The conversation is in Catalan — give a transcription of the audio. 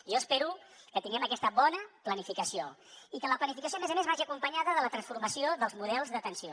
jo espero que tinguem aquesta bona planificació i que la planificació a més a més vagi acompanyada de la transformació dels models d’atenció